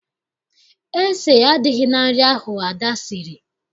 Ese adịghị na nri ahụ Ada siri